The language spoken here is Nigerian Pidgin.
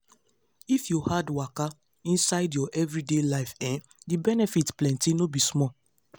if you add waka inside your everyday life[um]the benefit plenty no be small.